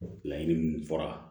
Laɲini minnu fɔra